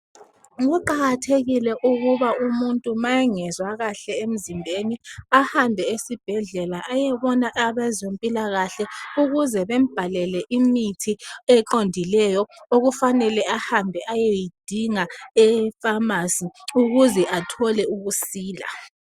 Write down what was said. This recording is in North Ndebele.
kuqakathekile ukuba umuntu ma engezwa kahle emzimbeni ahambe esibhedlela ayebona abezempilakahle ukuze bembhalele imithi eqondileyo okufanele ahambe eyeyidinga e phamarcy ukuze athole ukusila